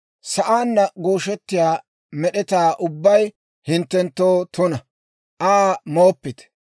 « ‹Sa'aanna gooshettiyaa med'etaa ubbay hinttenttoo tuna; Aa mooppite.